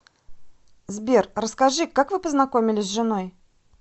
сбер расскажи как вы познакомились с женой